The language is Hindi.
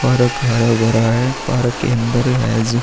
पारक हरा-भरा है। पारक के अंदर एज --